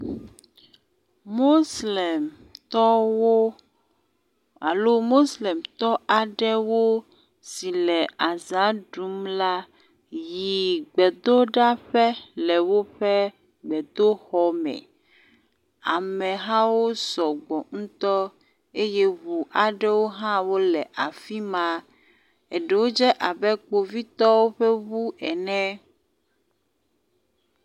Moslemtɔwo alo moslemtɔ aɖe si le aza ɖum la yi gbedoɖaƒe le woƒe gbedoxɔ me. Amehawo sɔgbɔ ŋutɔ eye ŋu aɖewo hã wole afi ma. Eɖewo dze abe kpovitɔwo ƒe ŋu ene.